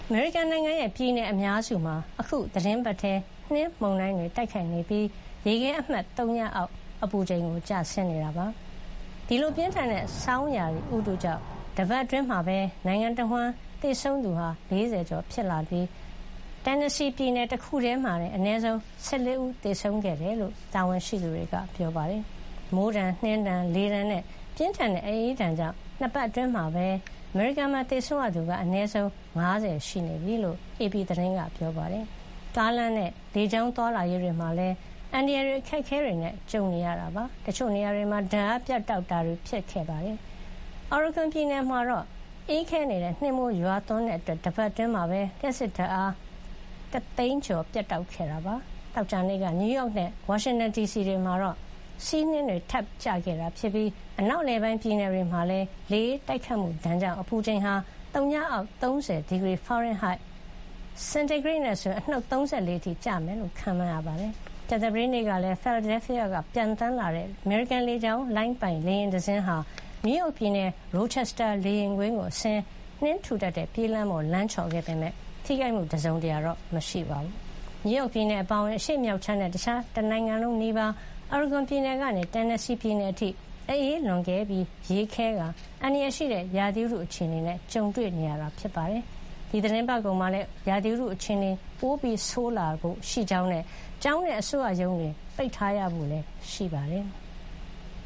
အမေရိကန်နိုင်ငံရဲ့ ပြည်နယ်အများစုမှာ အခု သီတင်းပတ်ထဲ နှင်းမုန်တိုင်းတွေ တိုက်ခိုက်နေပြီး ရေခဲ အမှတ် သုညအောက် အပူချိန် ကျဆင်းနေပါတယ်။ ဒီလို ပြင်းထန်တဲ့ ဆောင်းရာသီဥတုကြောင့် တပတ်အတွင်းမှာ နိုင်ငံတဝန်း သေဆုံးသူ ၄၀ ကျော်ရှိ နေပြီး တန်နက်ဆီပြည်နယ်တခုတည်းမှာတင် အနည်းဆုံး ၁၄ ဦး သေဆုံးခဲ့ကြောင်း တာဝန်ရှိသူတွေက ပြောပါတယ်။ မိုးဒဏ်၊ နှင်းဒဏ်၊ လေဒဏ်နဲ့ ပြင်းထန်တဲ့ အအေးဒဏ်ကြောင့် နှစ်ပတ်အတွင်း အမေရိကန်မှာ သေဆုံးရသူက အနည်းဆုံး လူ ၅၀ ရှိနေပြီလို့ အေပီသတင်းမှာ ဖော်ပြပါတယ်။ ကားလမ်းနဲ့ လေကြောင်း သွားလာရေးတွေမှာလည်း အန္တရာယ်တွေ၊ အခက်အခဲတွေနဲ့ ကြုံနေရပါတယ်။ တချို့နေရာတွေမှာ ဓာတ်အားပြတ်တောက်မှုတွေ ဖြစ်ခဲ့ပါတယ်။ အော်ရီဂွန်ပြည်နယ်မှာဆိုရင် အေးခဲနေတဲ့ နှင်းမိုးရွာသွန်းမှုကြောင့် တပတ်အတွင်း လျှပ်စစ်ဓာတ်အား ၁၀၀,၀၀၀ ကျော် ပြတ်တောက်ခဲ့ပါတယ်။ သောကြာနေ့က နယူးယောက်နဲ့ ဝါရှင်တန်ဒီစီ တို့မှာ ဆီးနှင်း အသစ်တွေ ထပ်ကျခဲ့ပြီး အနောက်အလယ်ပိုင်း ပြည်နယ်တွေမှာ လေအေး တိုက်ခိုက်မှုဒဏ်ကြောင့် အပူချိန်ဟာ သုညအောက် ၃၀ ဒီဂရီ ဖာရင်ဟိုက် (စင်ဒီဂရိတ်နဲ့ ဆိုရင် အနှုတ် ၃၄) အထိကျဆင်းမယ်လို့ ခန့်မှန်းရပါတယ်။ ကြာသပတေးနေ့ကလည်း ဖီလာဒဲလ်ဖီးယားက ပျံသန်းလာတဲ့ အမေရိကန်လေကြောင်းလိုင်းပိုင် လေယာဉ်တစင်းဟာ နယူးယောက်ပြည်နယ် ရိုချက်စတာမြို့က လေယာဥ်ကွင်းကို အဆင်း၊ နှင်းထူထပ်တဲ့ ပြေးလမ်းပေါ်မှာ လမ်းချော်ခဲ့ပေမယ့် လူထိခိုက် မှုတော့ မရှိခဲ့ပါဘူး။ နယူးယောက်ပြည်နယ် အပါအဝင် အရှေ့မြောက် ခြမ်းနဲ့ တခြား နိုင်ငံတခုလုံးနီးပါး အော်ရီဂွန်ပြည်နယ်ကနေ တက်နက်စီ ပြည်နယ်အထိ အအေးလွန်ကဲပြီး ရေခဲကာ အန္တရာယ်ရှိတဲ့ ရာသီဥတုအခြေအနေ ကြုံတွေ့နေရတာပါ။ သီတင်းပတ်ကုန်မှာလည်း ရာသီဥတု အခြေအနေက ပိုဆိုးရွားလာဖွယ်ရှိတာကြောင့် ကျောင်းနဲ့ အစိုးရရုံးတွေ ပိတ်ထားရဖို့ ရှိနေပါတယ်။